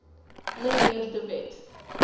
mnr de wet